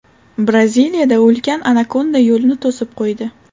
Braziliyada ulkan anakonda yo‘lni to‘sib qo‘ydi .